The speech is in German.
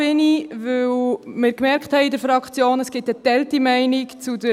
Ich bin hier, weil wir in der Fraktion gemerkt haben, dass wir zur Motion Gnägi geteilter Meinung sind.